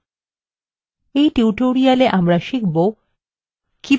in tutorialwe আমরা শিখবো কিভাবে :